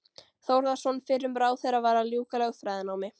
Þórðarson fyrrum ráðherra, var að ljúka lögfræðinámi.